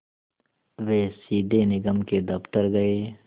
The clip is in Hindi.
वे सीधे निगम के दफ़्तर गए